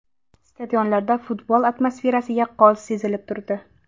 Stadionlarda futbol atmosferasi yaqqol sezilib turdi.